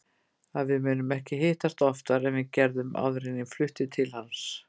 Að við munum ekki hittast oftar en við gerðum áður en ég flutti til hans.